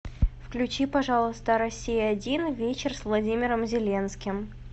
включи пожалуйста россия один вечер с владимиром зеленским